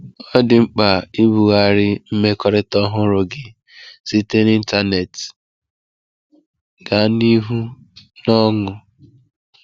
Ọ dị mkpa ibughari mmekọrịta ọhụrụ gị site n’ịntanetị gaa n’ihu n’ọnụ.